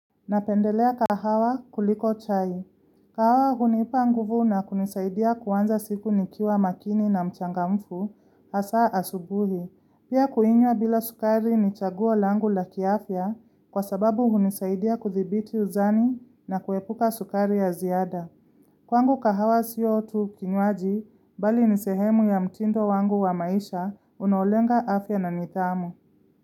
Napendelea kahawa kuliko chai. Kahawa hunipa nguvu na kunisaidia kuanza siku nikiwa makini na mchangamfu hasa asubuhi. Pia kuinywa bila sukari ni chaguo langu la kiafya kwa sababu hunisaidia kudhibiti uzani na kuepuka sukari ya ziada. Kwangu kahawa sio tu kinywaji bali nisehemu ya mtindo wangu wa maisha unaolenga afya na nithamu.